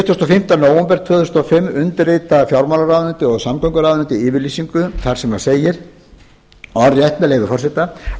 fimmta nóvember tvö þúsund og fimm undirritar fjármálaráðuneytið og samgönguráðuneytið yfirlýsingu þar sem segir orðrétt með leyfi forseta ákveðið